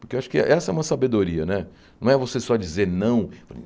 porque eu acho que essa é uma sabedoria né, não é você só dizer não.